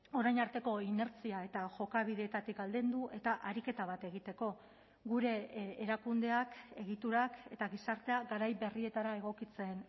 orain arteko inertzia eta jokabideetatik aldendu eta ariketa bat egiteko gure erakundeak egiturak eta gizartea garai berrietara egokitzen